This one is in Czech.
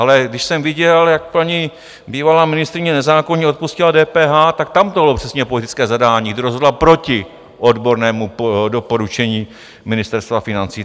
Ale když jsem viděl, jak paní bývalá ministryně nezákonně odpustila DPH, tak tam to bylo přesně politické zadání, kdy rozhodla proti odbornému doporučení Ministerstva financí.